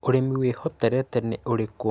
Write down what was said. ũrĩmi wĩhotorete nĩ ũrĩkũ?